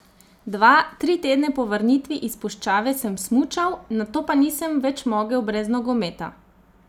Dva, tri tedne po vrnitvi iz puščave sem smučal, nato pa nisem več mogel brez nogometa.